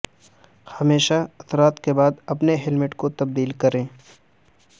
ہمیشہ اثرات کے بعد اپنے ہیلمیٹ کو تبدیل کریں